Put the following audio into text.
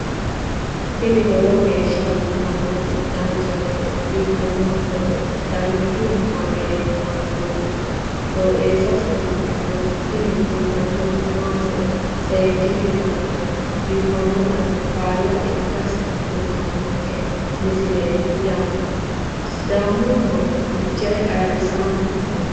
tini lowo geeshsha biiffannoti dancha gede biiffanno footo danchu kaameerinni haa'noonniti qooxeessa biiffannoti tini kultannori maatiro seekkine la'niro biiffannota faayya ikkase kultannoke misileeti yaate sidaamu manni fichee ayrisanni no